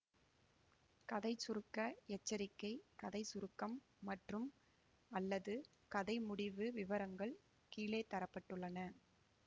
கதை சுருக்க எச்சரிக்கை கதை சுருக்கம் மற்றும்அல்லது கதை முடிவு விவரங்கள் கீழே தர பட்டுள்ளன